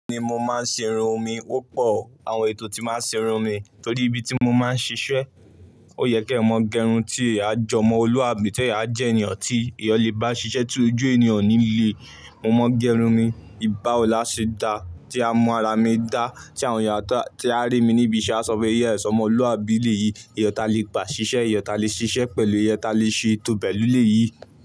Bẹ́ẹ̀ni mo máa ń ṣe irun mi, ó pọ̀ àwọn ètò tí máa ń ṣe irun mi torí ibi tí mo máa ń ṣiṣẹ́. Ó yẹ kí ẹ̀ mọ gẹrun tí a jọmọ́ olú àbí tí a jẹ́ ènìyàn tí èèyàn le bá ṣiṣẹ́ tí ojú ènìyàn ò níle Mo mọ gẹrun mi, ìbá òlàṣẹ dá tí a mọ ara mi dá, tí àwọn èèyàn tó rí mi níbi iṣẹ́ á sọ pé "ìyá ẹ sọmọ olú àbí ilé yìí, èèyàn ta lé gbà ṣiṣẹ́, èèyàn ta lé ṣiṣẹ́ pẹ̀lú, èèyàn ta lé ṣe ètò pèlú lè yìí."